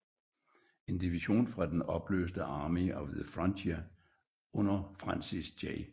En division fra den opløste Army of the Frontier under Francis J